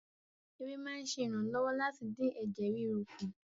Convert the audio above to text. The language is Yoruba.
Ère máa ń ṣe ìrànlọ́wọ́ láti dín ẹ̀jẹ̀ ríru kù